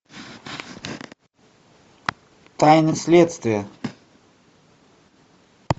тайны следствия